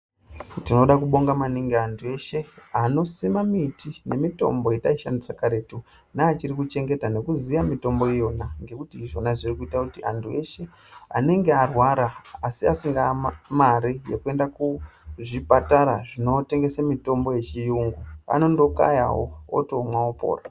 Tinoda kubonga maningi, anthu eshe, anosima miti nemitombo yetaishandisa karetu, neachiri kuchengeta nekuziya mitombo iyona, ngekuti izvona zviri kuita kuti, anthu eshe anenge arwara asi asina mare yekuenda kuzvipatara zvinotengesa mitombo yechiyungu, anondokayawo, otomwa, opora.